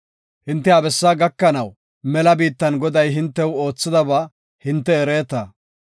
Hinte ha bessaa gakanaw mela biittan Goday hintew oothidaba hinte ereeta.